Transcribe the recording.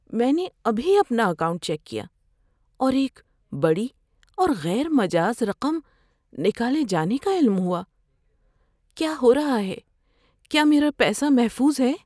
میں نے ابھی اپنا اکاؤنٹ چیک کیا اور ایک بڑی اور غیر مجاز رقم نکالے جانے کا علم ہوا۔ کیا ہو رہا ہے؟ کیا میرا پیسہ محفوظ ہے؟